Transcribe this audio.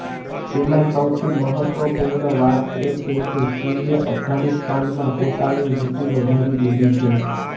તેમાં સૌથી મહત્ત્વપૂર્ણ વાત એ છે કે ચીને અફઘાનિસ્તાનમાં પોતાની રુચિ વધારી દીધી છે